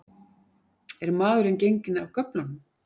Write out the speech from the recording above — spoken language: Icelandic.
Er maðurinn genginn af göflunum?